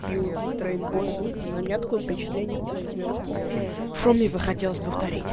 пиво витро ин бомбинг на меня такое впечатление произвело что мне захотелось повторить